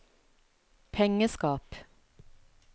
pengeskap